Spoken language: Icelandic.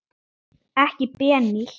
Ekki Benín.